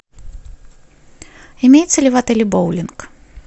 имеется ли в отеле боулинг